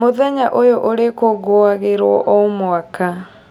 Mũthenya ũyũ ũrĩkũngũagĩrwo o mwaka